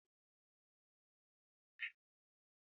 Tarakta ta zagaya cikin gonaki, tana tura garma a shirye-shiryen shuka.